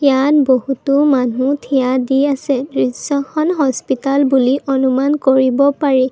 ইয়াত বহুতো মানুহ থিয়া দি আছে দৃশ্যখন হস্পিতাল বুলি অনুমান কৰিব পাৰি।